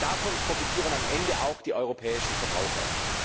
Denn davon profitieren am Ende auch die europäischen Verbraucher.